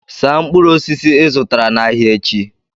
saa mkpụrụ osisi ị zụtara n'ahịa echi